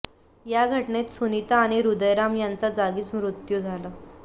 या घटनेत सुनिता आणि हृदयराम यांचा जागीच मृत्यू झाला